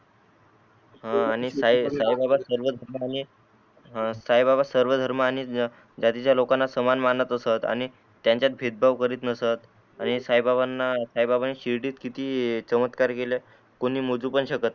हा आणि साई बाबा सर्व धर्माणे हा साई बाबा सर्व धर्म आणि जातीच्या लोकांना सामान मानत असत आणि त्यांचात भेद भाव करीत नसत आणि साई बाबाणी शिर्डीत किती चमत्कार केले कोणी मोजू पण शकत नाही.